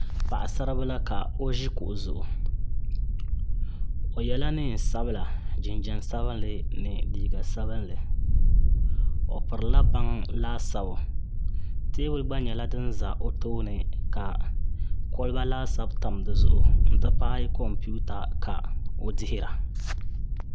Paɣasaribila ka o ʒi kuɣu zuŋu o yɛla neen sabila jinjɛm sabinli ni liiga sabinli o pirila baŋ laasabu teebuli gba nyɛla din ʒɛ o tooni ka kolba laasabu tam dizuɣu n ti pahi kompita ka o dihira